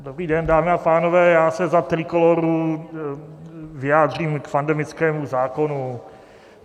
Dobrý den, dámy a pánové, já se za Trikolóru vyjádřím k pandemickému zákonu.